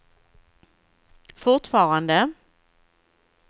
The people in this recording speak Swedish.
fortfarande